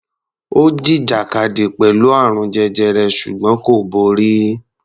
Ó jìjàkadì pẹ̀lú àrùn jẹjẹrẹ ṣùgbọ́n kò borí.